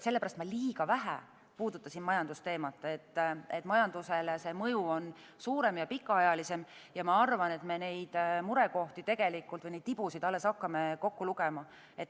Ma liiga vähe puudutasin majandusteemat sellepärast, et majandusele see mõju on suurem ja pikaajalisem, ja ma arvan, et me neid murekohti või neid tibusid alles hakkame kokku lugema.